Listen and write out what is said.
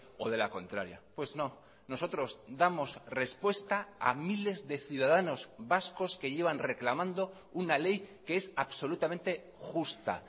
o de la contraria pues no nosotros damos respuesta a miles de ciudadanos vascos que llevan reclamando una ley que es absolutamente justa